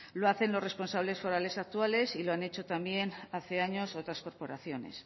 lo hacen los responsables forales actuales y lo han hecho también hace años otras corporaciones